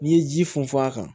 N'i ye ji funfun a kan